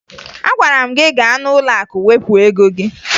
Agwara m gị gaa n'ụlọakụ wepụ ego gị!